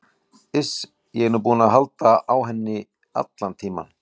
Iss, ég er nú búinn að halda á henni allan tímann.